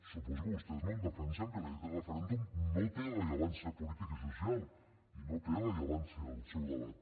suposo que vostès no em defensen que la llei del referèndum no té rellevància política i social i no té rellevància el seu debat